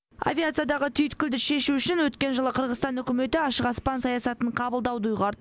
авиациядағы түйткілді шешу үшін өткен жылы қырғызстан үкіметі ашық аспан саясатын қабылдауды ұйғарды